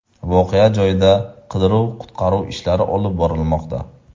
Voqea joyida qidiruv-qutqaruv ishlari olib borilmoqda.